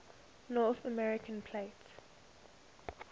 north american plate